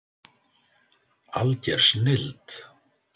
Alger snilld